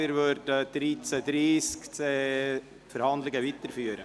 Wir führen die Verhandlungen um 13.30 Uhr weiter.